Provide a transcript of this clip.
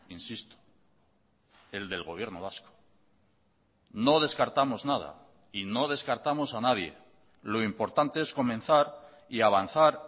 insisto el del gobierno vasco no descartamos nada y no descartamos a nadie lo importante es comenzar y avanzar